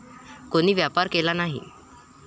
कोणी व्यापार केला नाही.